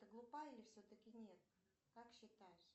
ты глупая или все таки нет как считаешь